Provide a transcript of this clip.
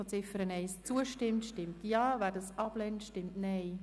Wer die Ziffer 2 annimmt, stimmt Ja, wer diese ablehnt, stimmt Nein.